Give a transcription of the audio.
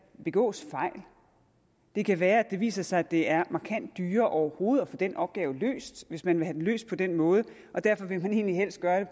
begås fejl det kan være at det viser sig at det er markant dyrere overhovedet at få den opgave løst hvis man vil have den løst på den måde og derfor vil man egentlig helst gøre